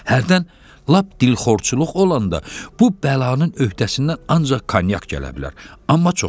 Hərdən lap dilxorçuluq olanda bu bəlanın öhdəsindən ancaq konyak gələ bilər, amma çox yox.